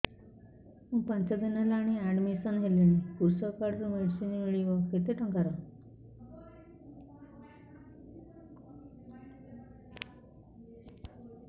ମୁ ପାଞ୍ଚ ଦିନ ହେଲାଣି ଆଡ୍ମିଶନ ହେଲିଣି କୃଷକ କାର୍ଡ ରୁ ମେଡିସିନ ମିଳିବ କେତେ ଟଙ୍କାର